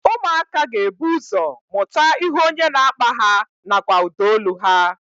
Ụmụaka ga-ebu ụzọ mụta ihu onye na-akpa ha nakwa ụdaolu ha